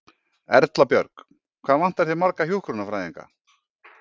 Erla Björg: Hvað vantar þér marga hjúkrunarfræðinga?